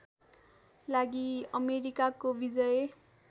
लागि अमेरिकाको विजय